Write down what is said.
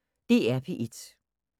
DR P1